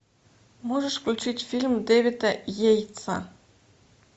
можешь включить фильм дэвида йейтса